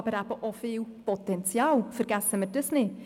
Aber es gibt eben auch viel Potenzial, vergessen wir das nicht.